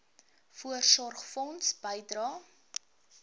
voorsorgfonds bydrae